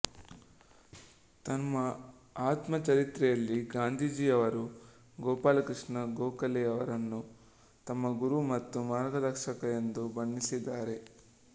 ತಮ್ಮ ಆತ್ಮ ಚರಿತ್ರೆಯಲ್ಲಿ ಗಾಂಧೀಜಿಯವರು ಗೋಪಾಲ ಕೃಷ್ಣ ಗೋಖಲೆಯವರನ್ನು ತಮ್ಮ ಗುರು ಮತ್ತು ಮಾರ್ಗದರ್ಶಕ ಎಂದು ಬಣ್ಣಿಸಿದ್ದಾರೆ